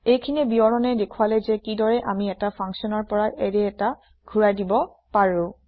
এইখিনি বিৱৰণে দেখুৱালে যে কিদৰে আমি এটা functionৰ পৰা এৰে এটা ঘোৰাই দিব পাৰো